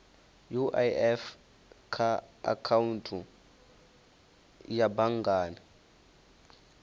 uif kha akhaunthu ya banngani